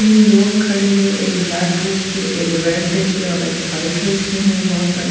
तीन लोग खड़े है एक ब्लैक ड्रेस पे एक रेड ड्रेस पे और एक व्हाइट ड्रेस पे है। बहुत सारे --